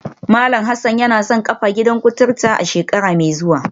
Malam Hassan yana son kafa gidan kuturu a shekara mai zuwa